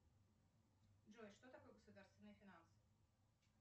джой что такое государственные финансы